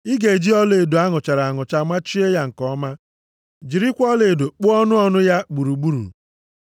Ị ga-eji ọlaedo a nụchara anụcha machie ya nke ọma, jirikwa ọlaedo kpụọ ọnụ ọnụ ya gburugburu.